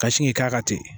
Ka sin k'i k'a kan ten